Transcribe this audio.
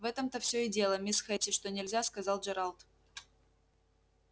в этом-то всё и дело мисс хэтти что нельзя сказал джералд